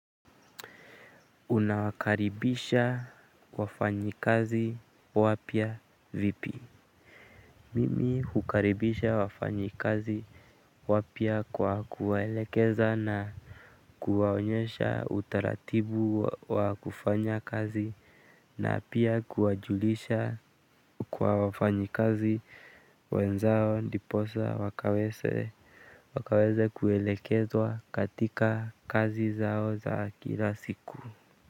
Unawakaribisha wafanyi kazi wapia vipi? Mimi hukaribisha wafanyakazi wapya kwa kuwaelekeza na kuwaonyesha utaratibu wa kufanya kazi na pia kuwajulisha kwa wafanyakazi wenzao ndiposa wakaweze kuelekezwa katika kazi zao za kila siku.